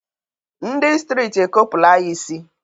Ndụ stritị e kopula ya ịsị